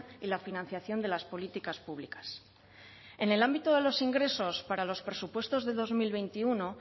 y la financiación de las políticas públicas en el ámbito de los ingresos para los presupuestos de dos mil veintiuno